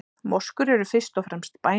Moskur eru fyrst og fremst bænahús.